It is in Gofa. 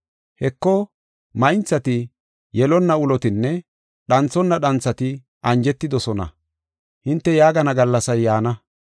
‘Heko maynthati, yelonna ulotinne dhanthonna dhanthati anjetidosona’ hinte yaagana gallasay yaana.